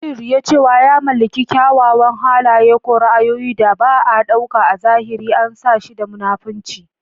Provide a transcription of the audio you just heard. Yin riya cewa ya mallaki kyawawan halaye ko ra'ayoyin da ba a ɗauka a zahiri an san shi da munafunci.